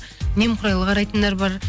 немқұрайлы қарайтындар бар